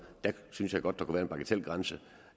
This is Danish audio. der synes jeg godt der kunne være en bagatelgrænse